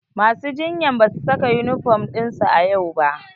Masu jinyan ba su saka yunifom ɗinsu a yau ba.